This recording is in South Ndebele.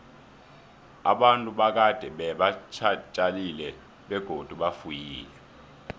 abantu bakade beba tjalile begodu bafuyile